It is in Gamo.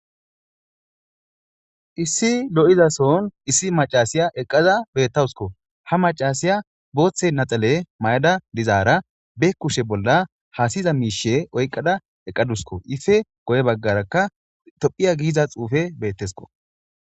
Issi loi'zason issi macasiya eqqaza bettawusko ha macasiya booththe naxale may'ada dizaara be kushe bolla haasiy'za miishe oyqada eqqadusko ife goye baggarakka tophiya giiza xuufe beettesko.